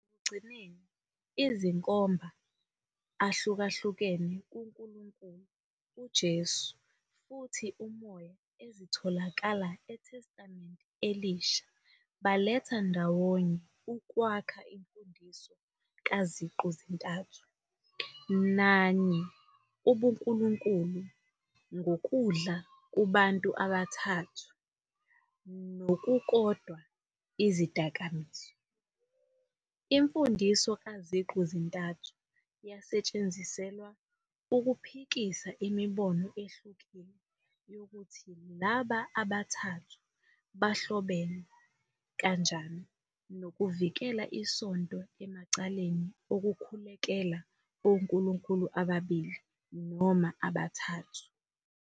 Ekugcineni, izinkomba ahlukahlukene kuNkulunkulu, uJesu, futhi uMoya ezitholakala eTestamenteni Elisha baletha ndawonye ukwakha imfundiso kaZiqu-zintathu nanye ubuNkulunkulu ngokudla kubantu abathathu nokukodwa izidakamizwa. Imfundiso kaZiqu-zintathu yasetshenziselwa ukuphikisa imibono ehlukile yokuthi laba abathathu bahlobene kanjani nokuvikela isonto emacaleni okukhulekela onkulunkulu ababili noma abathathu.